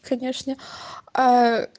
конечно аа